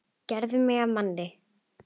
Gerðir mig að manni.